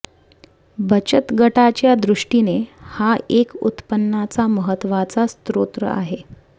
बचत गटाच्या दृष्टीने हा एक उत्पन्नाचा महत्त्वाचा स्रोत आहे